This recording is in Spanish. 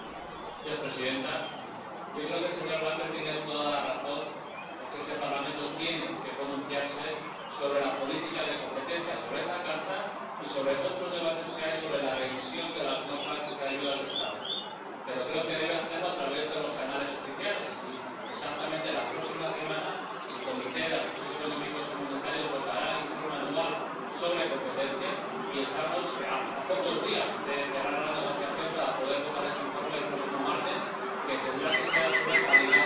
Señora presidenta, creo que el señor Lamberts tiene toda la razón en que este Parlamento tiene que pronunciarse sobre la política de competencia, sobre esa carta y sobre otros debates que hay sobre la revisión de las normas de ayudas de Estado. Pero creo que debe hacerlo a través de los canales oficiales, y exactamente la próxima semana la Comisión de Asuntos Económicos y Monetarios votará el Informe anual sobre la política de competencia y estamos a pocos días de cerrar la negociación para poder votar ese informe el próximo martes —que tendrá que ser a su vez validado